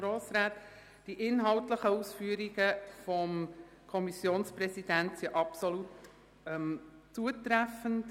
Denn die inhaltlichen Ausführungen des Kommissionspräsidenten sind absolut zutreffend.